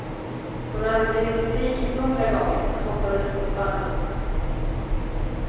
Hon hade blivit besviken hundra gånger, men hoppades fortfarande.